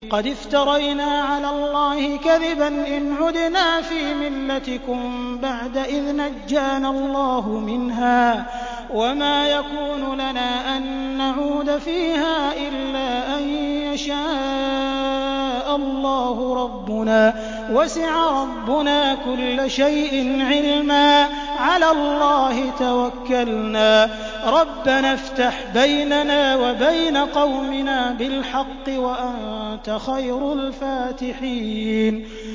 قَدِ افْتَرَيْنَا عَلَى اللَّهِ كَذِبًا إِنْ عُدْنَا فِي مِلَّتِكُم بَعْدَ إِذْ نَجَّانَا اللَّهُ مِنْهَا ۚ وَمَا يَكُونُ لَنَا أَن نَّعُودَ فِيهَا إِلَّا أَن يَشَاءَ اللَّهُ رَبُّنَا ۚ وَسِعَ رَبُّنَا كُلَّ شَيْءٍ عِلْمًا ۚ عَلَى اللَّهِ تَوَكَّلْنَا ۚ رَبَّنَا افْتَحْ بَيْنَنَا وَبَيْنَ قَوْمِنَا بِالْحَقِّ وَأَنتَ خَيْرُ الْفَاتِحِينَ